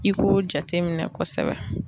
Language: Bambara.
I k'o jateminɛ kosɛbɛ.